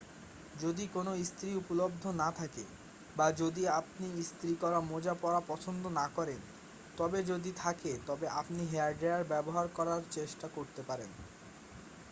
যদি কোনও ইস্ত্রি উপলব্ধ না থাকে বা যদি আপনি ইস্ত্রি করা মোজা পরা পছন্দ না করেন তবে যদি থাকে তবে আপনি হেয়ারডায়ার ব্যবহার করার চেষ্টা করতে পারেন